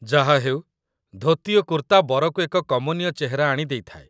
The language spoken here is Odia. ଯାହାହେଉ, ଧୋତି ଓ କୁର୍ତ୍ତା ବରକୁ ଏକ କମନୀୟ ଚେହେରା ଆଣି ଦେଇଥାଏ